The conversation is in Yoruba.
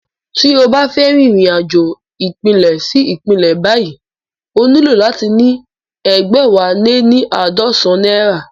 Tí o bá fẹ́ rìnrìn-àjò ìpínlẹ̀ sí ìpínlẹ̀ báyìí o nílò láti ní egbẹwaleníaadọsan náírà